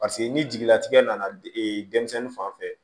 Paseke ni jigila tigɛ nana de denmisɛnnin fan fɛ